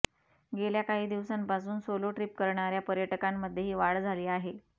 गेल्या काही दिवसांपासून सोलो ट्रिप करणाऱ्या पर्यटकांमध्येही वाढ झाली आहे